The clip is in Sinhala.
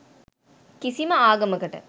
කිසිම ආගමකට